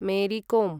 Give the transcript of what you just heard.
Mary com